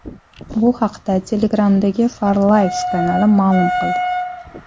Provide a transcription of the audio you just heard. Bu haqda Telegram’dagi FarLives kanali ma’lum qildi .